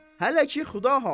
Hələ ki xudahafiz.